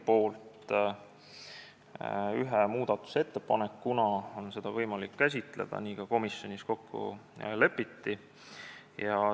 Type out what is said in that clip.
Seda on võimalik käsitleda ühe muudatusettepanekuna, nii ka komisjonis kokku lepiti.